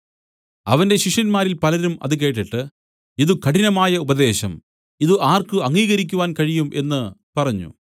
അവന്റെ ശിഷ്യന്മാർ പലരും അത് കേട്ടിട്ട് ഇതു കഠിനമായ ഉപദേശം ഇതു ആർക്ക് അംഗീകരിക്കുവാൻ കഴിയും എന്നു പറഞ്ഞു